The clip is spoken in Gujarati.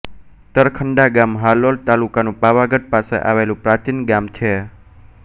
તરખંડા ગામ હાલોલ તાલુકાનું પાવાગઢ પાસે આવેલું પ્રાચીન ગામ છે